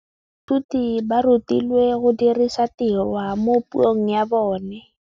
Baithuti ba rutilwe go dirisa tirwa mo puong ya bone.